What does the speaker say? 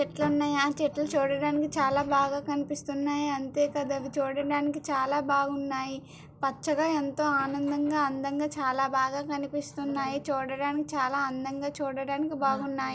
చెట్లున్నయ్ ఆ చెట్లు చూడడానికి చాలా బాగా కనిపిస్తున్నాయి అంతే కాద్ అవి చూడడానికి చాలా బాగున్నాయి పచ్చగా ఎంతో ఆనందంగా అందంగా చాలా బాగా కనిపిస్తున్నాయి చూడడానికి చాలా అందంగా చూడడానికి బాగున్నాయి.